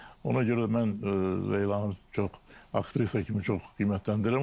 Ona görə də mən Leylanı çox aktrisa kimi çox qiymətləndirirəm.